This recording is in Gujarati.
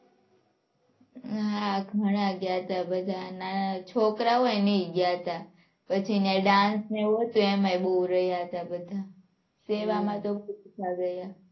હાં ઘણા ગયા હતા બધા. નાના નાના છોકરા હોય ને એય ગયા હતા પછી ત્યાં dance ને એવું હતું એમાંય બહુ રહ્યા હતા બધા. સેવા માં તો